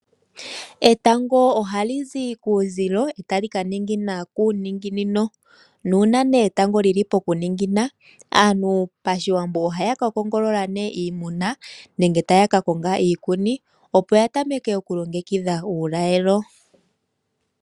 Etango ohali zi kuuzilo tali ka ninginina kuuninginino nuuna etango lyili pokuningina aantu pashiwambo ohaya ka kongolola iimuna nenge taya ka konga iikuni opo ya tameke okulongekidha uulalelo.